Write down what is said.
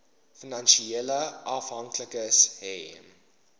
finansiële afhanklikes hê